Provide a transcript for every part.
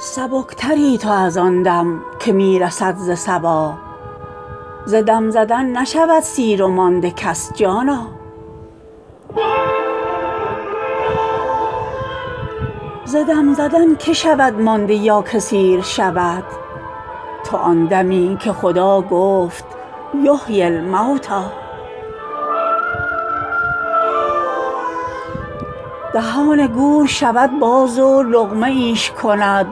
سبکتری تو از آن دم که می رسد ز صبا ز دم زدن نشود سیر و مانده کس جانا ز دم زدن که شود مانده یا که سیر شود تو آن دمی که خدا گفت یحیی الموتی دهان گور شود باز و لقمه ایش کند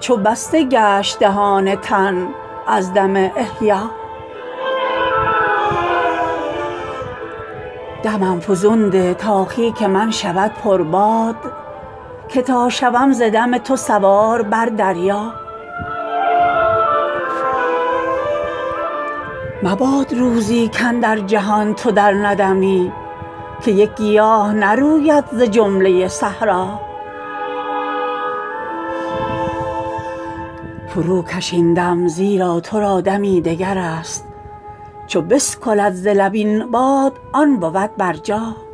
چو بسته گشت دهان تن از دم احیا دمم فزون ده تا خیک من شود پرباد که تا شوم ز دم تو سوار بر دریا مباد روزی کاندر جهان تو درندمی که یک گیاه نروید ز جمله صحرا فروکش این دم زیرا تو را دمی دگر است چو بسکلد ز لب این باد آن بود برجا